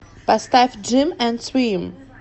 поставь джим энд свим